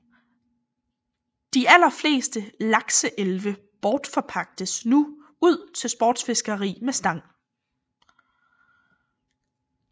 De allerfleste lakseelve bortforpagtes nu til sportsfiskeri med stang